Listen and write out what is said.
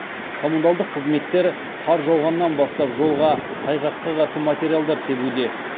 коммуналдық қызметтер қар жауғаннан бастап жолға тайғаққа қарсы материалдар себуде